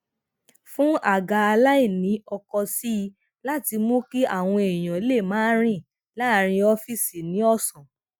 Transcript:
fún àga aláìnì ọkọ sí i láti mú kí àwọn èèyàn lè máa rìn laaarin ọfiisi ni òsán